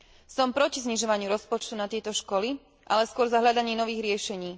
Som proti znižovaniu rozpočtu na tieto školy, ale skôr za hľadanie nových riešení.